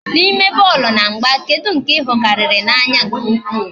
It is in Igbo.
N'ime bọọlụ na mgba, kedu nke I hụ karịrị n'anya nke ukwu?